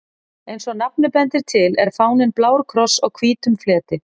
Eins og nafnið bendir til er fáninn blár kross á hvítum fleti.